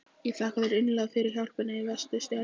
Ég þakka þér innilega fyrir hjálpina í vetur, Stjáni minn.